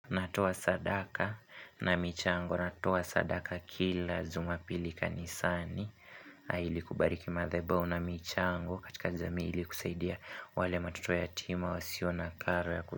Natoa sadaka na michango, natoa sadaka kila juma pili kanisani. Ili kubariki madhabao na michango katika jamii ili kusaidia wale matoto yatima wasiyona kara ya ku.